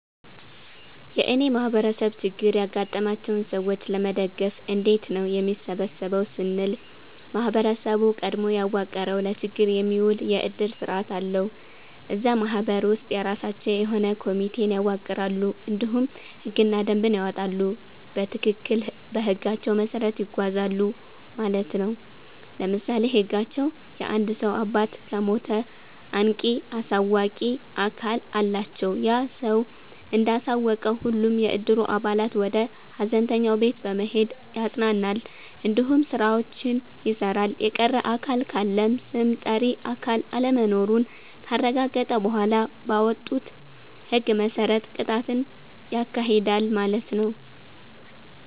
የእኔ ማህበረሰብ ችግር ያጋጠማቸውን ሰዎች ለመደገፍ እንዴት ነው የሚሰበሰበው ስንል ማህበረሰቡ ቀድሞ ያዋቀረዉ ለችግር የሚዉል የዕድር ስርዓት አለዉ። እዛ ማህበር ውስጥ የራሳቸዉ የሆነ ኮሚቴን ያዋቅራሉ እንዲሁም ህግና ደንብን ያወጣሉ በትክክል በህጋቸዉ መሰረት ይጓዛሉ ማለት ነዉ። ለምሳሌ ህጋቸዉ የአንድ ሰዉ አባት ከሞተ አንቂ(አሳዋቂ)አካል አላቸዉ ያ ሰዉ እንዳሳወቀ ሁሉም የዕድሩ አባላት ወደ ሀዘንተኛዉ ቤት በመሄድ ያፅናናል እንዲሁም ስራዎችን ይሰራል። የቀረ አካል ካለም ስም ጠሪ አካል አለመኖሩን ካረጋገጠ በኋላ ባወጡት ህግ መሰረት ቅጣትን ያካሂዳል ማለት ነዉ።